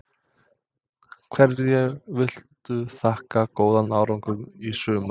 Hverju viltu þakka góðan árangur í sumar?